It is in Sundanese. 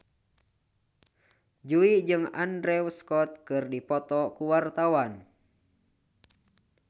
Jui jeung Andrew Scott keur dipoto ku wartawan